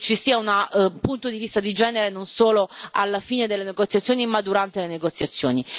che ci sia un punto di vista di genere non solo alla fine delle negoziazioni, ma durante le negoziazioni.